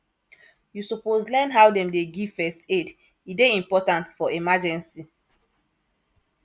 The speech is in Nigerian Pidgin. you suppose learn how dem dey give first aid e dey important for emergency